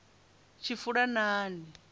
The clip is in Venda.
tshifulanani